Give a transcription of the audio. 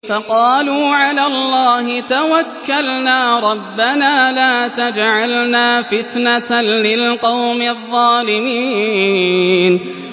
فَقَالُوا عَلَى اللَّهِ تَوَكَّلْنَا رَبَّنَا لَا تَجْعَلْنَا فِتْنَةً لِّلْقَوْمِ الظَّالِمِينَ